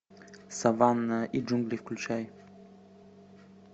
саванна и джунгли включай